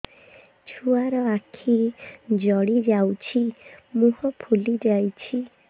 ଛୁଆର ଆଖି ଜଡ଼ି ଯାଉଛି ମୁହଁ ଫୁଲି ଯାଇଛି